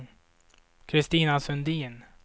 Christina Sundin